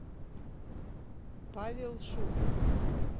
павел шумик